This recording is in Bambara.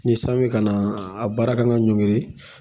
Ni san bɛ ka na a baara kan ka ɲɔnkiri